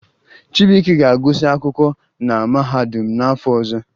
Chibuike ga-agụsị akwụkwọ na mahadum n'afọ ọzọ